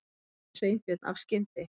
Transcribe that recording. sagði Sveinbjörn af skyndi